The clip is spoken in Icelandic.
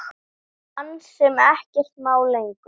Mann sem ekkert má lengur.